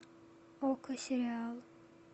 окко сериал